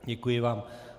Děkuji vám.